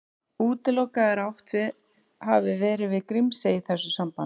Útilokað er að átt hafi verið við Grímsey í þessu sambandi.